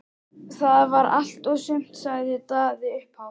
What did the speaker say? Það var allt og sumt, sagði Daði upphátt.